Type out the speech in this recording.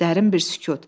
Dərin bir sükut.